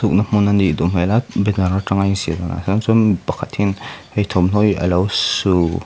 na hmun a nih duh hmela banner atanga a insiam danah hian chuan pakhat hian hei thawmhnaw hi alo su.